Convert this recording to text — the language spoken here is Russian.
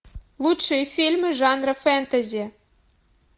лучшие фильмы жанра фэнтези